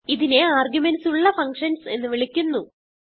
ഇതിനെ ആർഗുമെന്റ്സ് ഉള്ള ഫങ്ഷൻസ് എന്ന് വിളിക്കുന്നു